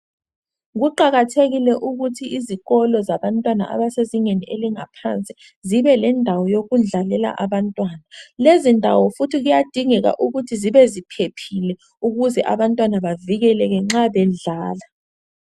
Kuqakathekile ukuthi izikolo zabantwana abasezingeni elingaphansi zibe lendawo yokudlalela abantwana lezi ndawo futhi kuyadingeka ukuthi zibe ziphephile ukuze abantwana bavikeleke nxa bedlala.